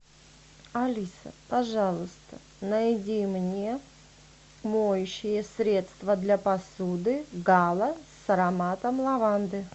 алиса пожалуйста найди мне моющее средство для посуды гала с ароматом лаванды